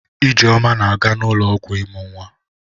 Ijeoma na-aga ụlọọgwụ ịmụ nwa.